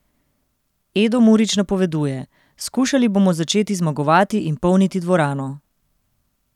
Edo Murić napoveduje: 'Skušali bomo začeti zmagovati in polniti dvorano.